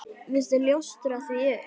Viltu ljóstra því upp?